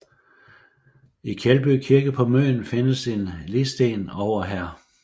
I Kjeldby Kirke på Møn findes en ligsten over Hr